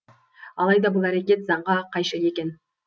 алайда бұл әрекет заңға қайшы екен